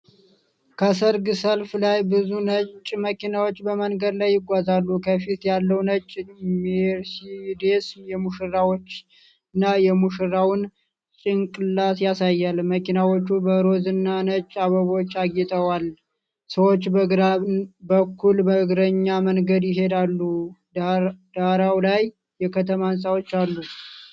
ከሠርግ ሰልፍ ላይ ብዙ ነጭ መኪናዎች በመንገድ ላይ ይጓዛሉ። ከፊት ያለው ነጭ ሜርሴዲስ የሙሽራዋንና የሙሽራውን ጭንቅላት ያሳያል። መኪናዎቹ በሮዝና ነጭ አበባዎች አጊጠዋል። ሰዎች በግራ በኩል በእግረኛ መንገድ ይሄዳሉ። ዳራው ላይ የከተማ ህንፃዎች አሉ።